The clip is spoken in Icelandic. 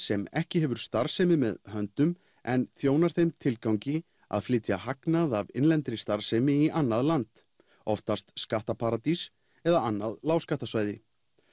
sem ekki hefur starfsemi með höndum en þjónar þeim tilgangi að flytja hagnað af innlendri starfsemi í annað land oftast skattaparadís eða annað lágskattasvæði